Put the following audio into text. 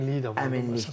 Özünə əminliyi də var.